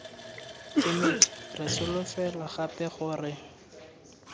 kemedi re solofela gape gore